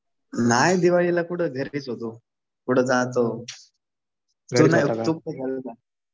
नाही दिवाळीला कुठं. घरीच होतो. कुठं जातो? तू गेलता?